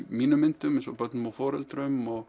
mínum myndum eins og börnum og foreldrum og